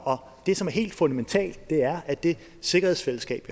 det som er helt fundamentalt er at det sikkerhedsfællesskab